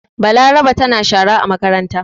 Balaraba tana shara a makaranta.